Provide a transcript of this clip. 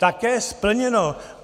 Také splněno.